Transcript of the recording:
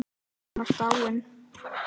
Hún var dáin.